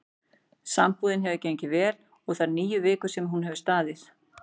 Sambúðin hefur gengið vel þær níu vikur sem hún hefur staðið.